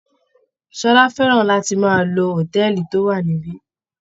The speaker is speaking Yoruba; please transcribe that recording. Ṣọlá fẹ́ràn láti máa lọ hòtẹ́ẹ̀lì tó wà níbí.